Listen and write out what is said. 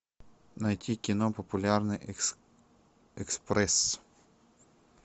найти кино популярный экспресс